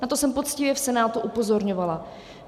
Na to jsem poctivě v Senátu upozorňovala.